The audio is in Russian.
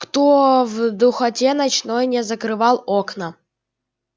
кто в духоте ночной не закрывал окна